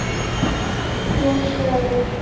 Hún sefur.